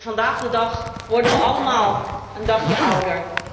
Vandaag de dag worden we allemaal een dagje ouder.